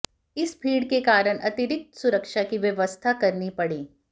इस भीड़ के कारण अतिरिक्त सुरक्षा की व्यवस्था करनी पड़ी